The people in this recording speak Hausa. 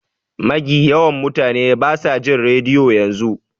Magi yawan mutane basa jin rediyo yanzu.